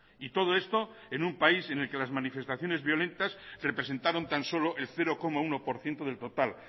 y todo esto en un país en el que las manifestaciones violentas representaron tan solo el cero coma uno por ciento del total